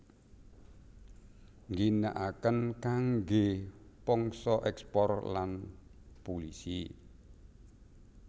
Ngginaaken kangge pangsa ekspor lan pulisi